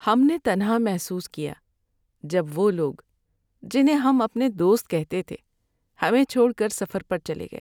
ہم نے تنہا محسوس کیا جب وہ لوگ جنہیں ہم اپنے دوست کہتے تھے ہمیں چھوڑ کر سفر پر چلے گئے۔